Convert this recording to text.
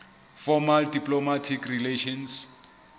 formal diplomatic relations